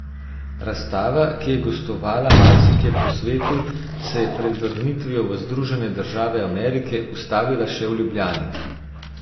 Razstava, ki je gostovala marsikje po svetu, se je pred vrnitvijo v Združene države Amerike ustavila še v Ljubljani.